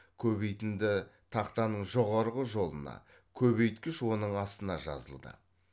көбейтінді тақтаның жоғарғы жолына көбейткіш оның астына жазылды